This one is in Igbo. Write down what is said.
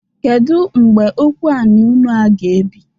Kedu mgbe okwu anị unu a g'ebi?